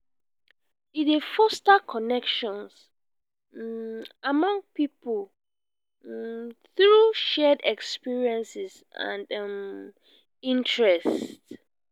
e dey foster connections um among people um through shared experiences and um interests.